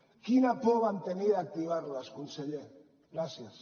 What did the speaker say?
quina por van tenir d’activar les conseller gràcies